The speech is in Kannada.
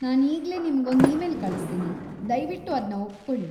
ನಾನು ಈಗ್ಲೇ ನಿಮ್ಗೊಂದು ಇಮೇಲ್ ಕಳಿಸ್ತೀನಿ. ದಯ್ವಿಟ್ಟು ಅದ್ನ ಒಪ್ಕೊಳಿ.